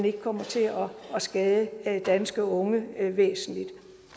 ikke kommer til at skade danske unge væsentligt